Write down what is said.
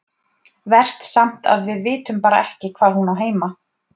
Verst samt að við vitum bara ekkert hvar hún á heima.